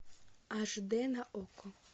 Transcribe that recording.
аш д на окко